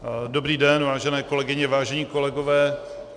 Dobrý den vážené kolegyně, vážení kolegové.